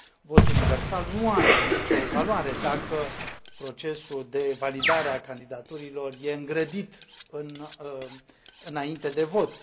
Votul universal nu are nicio valoare dacă procesul de validare a candidaturilor este îngrădit înainte de vot.